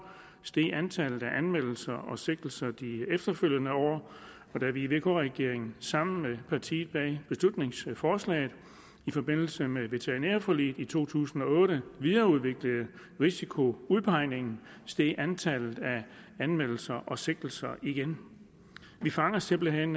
steg antallet af anmeldelser og sigtelser de efterfølgende år og da vi i vk regeringen sammen med partierne bag beslutningsforslaget i forbindelse med veterinærforliget i to tusind og otte videreudviklede risikoudpegningen steg antallet af anmeldelser og sigtelser igen vi fanger simpelt hen